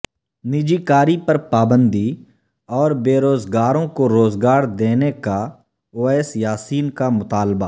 نجکاری پر پابندی اور بے روزگاروں کو روزگار دینے کا اویس یاسین کا مطالبہ